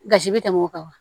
Gasi bɛ tɛmɛ o kan wa